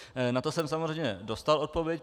Na to jsem samozřejmě dostal odpověď.